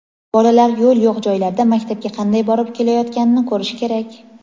bolalar yo‘l yo‘q joylarda maktabga qanday borib kelayotganini ko‘rishi kerak.